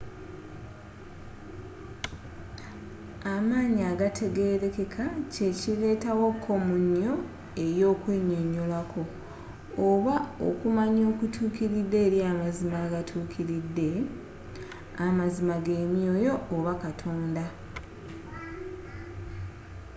amaanyi agatategerekeka kyekireeta wo komunyo eyokwenyonyolako oba okumanya okutuukiride eri amazima agatuukiride amazima gemyoyo oba katonda